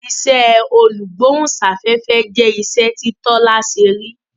iṣé olugbohunsafefe jẹ iṣẹ ti Tola ṣe rí.